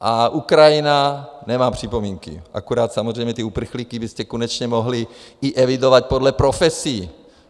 A Ukrajina, nemám připomínky, akorát samozřejmě ty uprchlíky byste konečně mohli i evidovat podle profesí.